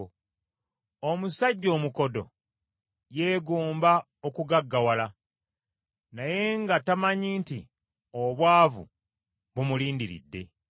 Omusajja omukodo yeegomba okugaggawala, naye nga tamanyi nti obwavu bumulindiridde.